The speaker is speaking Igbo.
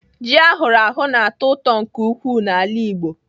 Ji ahụrụ ahụ na-atọ ụtọ nke ukwuu n'ala Igbo.